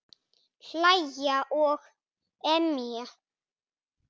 Hlæja og emja.